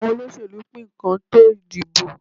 Àwọn olóṣẹ̀lú ń pín nǹkan tó ìdìbò.